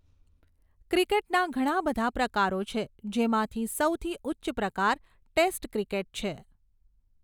ક્રિકેટના ઘણા બધા પ્રકારો છે જેમાંથી સૌથી ઉચ્ચ પ્રકાર ટેસ્ટ ક્રિકેટ છે.